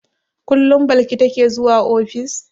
Kullum Balki take zuwa ofis?